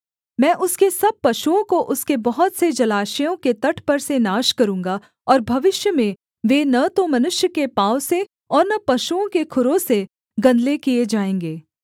मैं उसके सब पशुओं को उसके बहुत से जलाशयों के तट पर से नाश करूँगा और भविष्य में वे न तो मनुष्य के पाँव से और न पशुओं के खुरों से गंदले किए जाएँगे